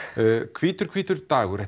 hvítur hvítur dagur